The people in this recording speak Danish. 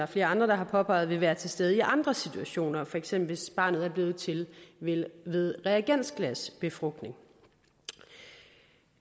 flere andre har påpeget vil være til stede i andre situationer for eksempel hvis barnet er blevet til ved ved reagensglasbefrugtning